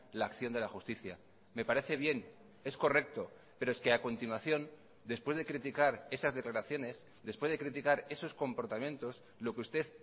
la acción de la justicia me parece bien es correcto pero es que a continuación después de criticar esas declaraciones después de criticar esos comportamientos lo que usted